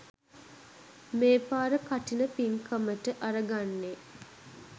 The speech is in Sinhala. මේ පාර කඨින පිංකමට අරගන්නෙ.